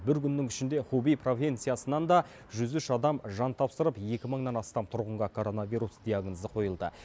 бір күннің ішінде хубэй провинциясынан да жүз үш адам жан тапсырып екі мыңнан астам тұрғынға коронавирус диагнозы қойылды